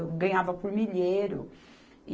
Eu ganhava por milheiro.